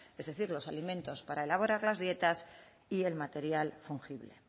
es decir los alimentos para elaborar las dietas y el material fungible